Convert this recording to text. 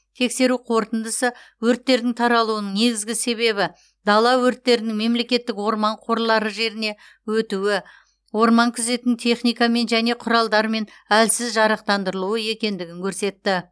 тексеру қорытындысы өрттердің таралуының негізгі себебі дала өрттерінің мемлекеттік орман қорлары жеріне өтуі орман күзетін техникамен және құралдармен әлсіз жарақтандырылуы екендігін көрсетті